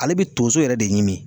Ale be tonso yɛrɛ de ɲini